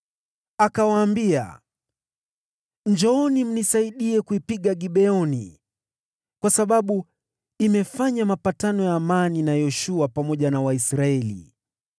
Akawaambia, “Njooni mnisaidie kuipiga Gibeoni, kwa sababu imefanya mapatano ya amani na Yoshua na Waisraeli.”